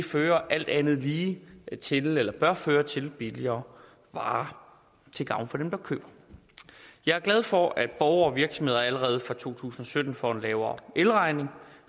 fører alt andet lige til eller bør føre til billigere varer til gavn for dem der køber jeg er glad for at borgere og virksomheder allerede fra to tusind og sytten får lavere elregning